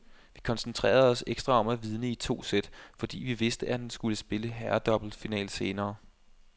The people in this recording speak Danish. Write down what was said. Vi koncentrerede os ekstra om at vinde i to sæt, fordi vi vidste, at han skulle spille herredoublefinale senere.